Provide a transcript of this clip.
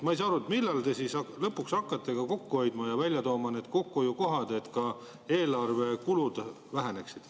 Ma ei saa aru, millal te hakkate lõpuks ka kokku hoidma ja tooma välja kokkuhoiukohti, et eelarve kulud väheneksid.